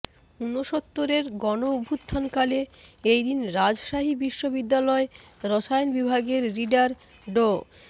ঊনসত্তরের গণঅভ্যুত্থানকালে এই দিনে রাজশাহী বিশ্ববিদ্যালয় রসায়ন বিভাগের রিডার ড